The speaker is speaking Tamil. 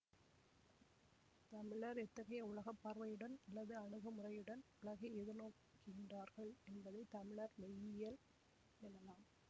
தமிழர் எத்தகைய உலக பார்வையுடன் அல்லது அணுகுமுறையுடன் உலகை எதிர்நோக்குகின்றார்கள் என்பதை தமிழர் மெய்யியல் எனலாம்